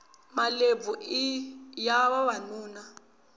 malebvu iya vavanuna